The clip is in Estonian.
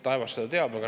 Taevas seda teab.